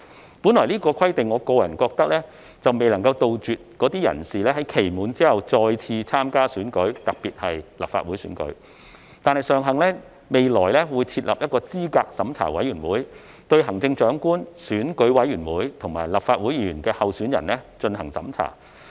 我本來覺得這項規定未能杜絕該等人士在期滿後再次參加選舉，特別是立法會選舉，但尚幸未來會設立候選人資格審查委員會，對行政長官、選舉委員會及立法會議員候選人進行審查。